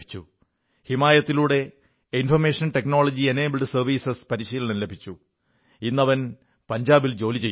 ഹിമായതിലൂടെ information technology enabled services പരിശീലനം ലഭിച്ചു ഇന്ന് അവൻ പഞ്ചാബിൽ ജോലി ചെയ്യുന്നു